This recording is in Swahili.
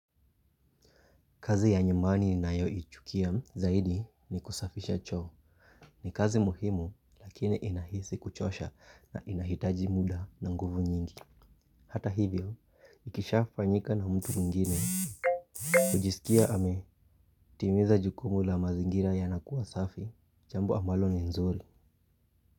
Kazi ya nyumbani ninayoichukia zaidi ni kusafisha choo. Ni kazi muhimu lakini inahisi kuchosha na inahitaji muda na nguvu nyingi. Hata hivyo, ikisha fanyika na mtu mwingine. Hujisikia ametimiza jukumu la mazingira ya nakuwa safi. Jambo ambalo ni nzuri.